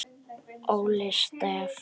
Óli Stef.